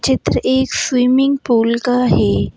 चित्र एक swimming pool का है।